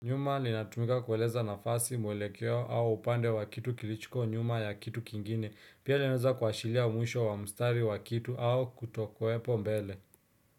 Nyuma linatumika kueleza nafasi mwelekeo au upande wa kitu kilicho nyuma ya kitu kingine. Pia linaeza kuashiria mwisho wa mstari wa kitu au kutokuepo mbele.